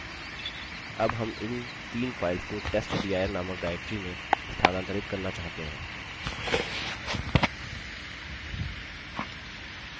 अब हम इन तीन files को testdir नामक directory में स्थानांतरित करना चाहते हैं